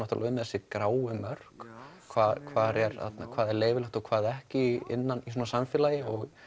um þessi gráu mörk hvað hvað er leyfilegt og hvað ekki innan samfélags